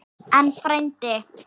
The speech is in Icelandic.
En, frændi